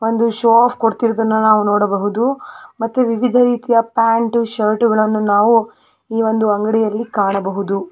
ಒಂದು show off ಕೊಡುತ್ತಿರೋದನ್ನ ನಾವು ನೋಡಬಹುದು ಮತ್ತೆ ವಿವಿಧರೀತಿಯ ಪ್ಯಾಂಟು ಶರ್ಟ್ಗಳನ್ನು ನಾವು ಈ ಒಂದ ಅಂಗಡಿಯಲ್ಲಿ ಕಾಣಬಹುದು.